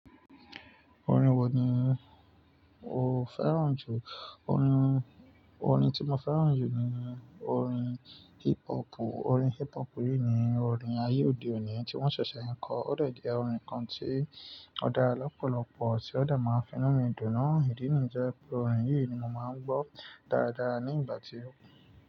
Orin wo ni o fẹ́ràn jù? Orin, orin tí mo fẹ́ràn jù ni orin hip hop. Orin hip hop yìí ni orin ayé òde òní tí wọ́n ṣẹ̀ṣẹ̀ ń kọ, ó dè je orin kan tí ó dára lọ́pọ̀lọ́pọ̀ sẹ̀, ó dà máa ń fi inú mi dùn na Ìdí nìjẹ́ pé orin yìí ni mo máa ń gbọ́ dáadáa ní ìgbà tí ó.